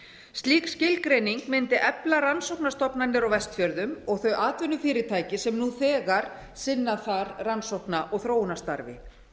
slík skilgreining mundi efla rannsóknastofnanir á vestfjörðum og þau atvinnufyrirtæki sem nú þegar sinna þar rannsóknum og þróunarstarfi